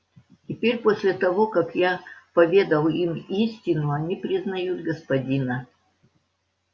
теперь после того как я поведал им истину они признают господина